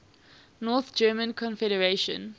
north german confederation